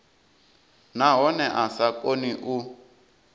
nahone a sa koni u